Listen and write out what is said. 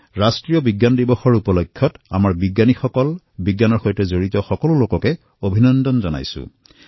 ৰাষ্ট্ৰীয় বিজ্ঞান দিৱস উপলক্ষে আমাৰ বৈজ্ঞানিকসকল বিজ্ঞানৰ সৈতে জড়িত সকলো লোককে অভিনন্দন জ্ঞাপন কৰিছোঁ